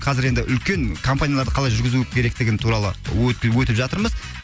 қазір енді үлкен компанияларды қалай жүргізу керектігін туралы өтіп жатырмыз